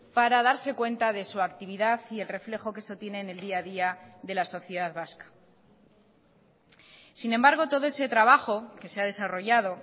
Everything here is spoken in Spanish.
para darse cuenta de su actividad y el reflejo que eso tiene en el día a día de la sociedad vasca sin embargo todo ese trabajo que se ha desarrollado